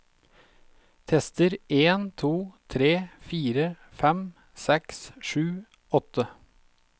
Tester en to tre fire fem seks sju åtte